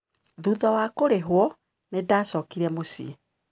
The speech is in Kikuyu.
Thutha wa kũrĩhwo, nĩndacokire mũciĩ.